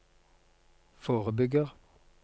forebygger